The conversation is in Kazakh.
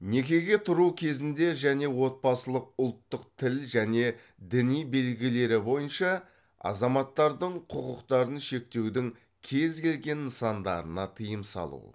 некеге тұруы кезінде және отбасылық ұлттық тіл және діни белгілері бойынша азаматтардың құқықтарын шектеудің кез келген нысандарына тыйым салу